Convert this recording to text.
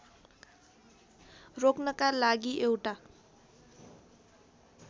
रोक्नका लागि एउटा